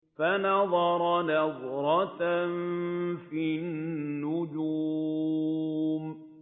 فَنَظَرَ نَظْرَةً فِي النُّجُومِ